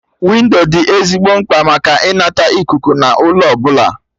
Windo dị ezigbo mkpa maka ịnata ikuku na ụlọ ọbụla